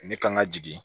Ne kan ka jigin